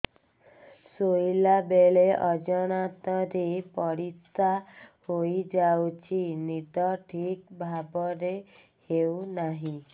ଶୋଇଲା ବେଳେ ଅଜାଣତରେ ପରିସ୍ରା ହୋଇଯାଉଛି ନିଦ ଠିକ ଭାବରେ ହେଉ ନାହିଁ